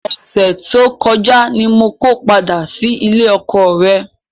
Ọ̀sẹ̀ tó kọjá ni mo ko padà sílé ọkọọ̀ rẹ.